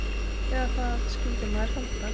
Eða það skyldi maður halda.